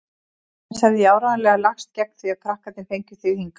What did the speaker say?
Annars hefði ég áreiðanlega lagst gegn því að krakkarnir fengju þig hingað.